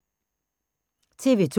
TV 2